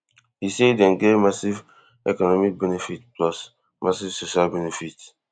e say dem get massive economic benefit plus massive social benefit